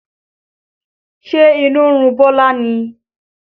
Ṣe inú ń run Bọlá ni?